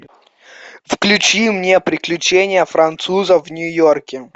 включи мне приключения француза в нью йорке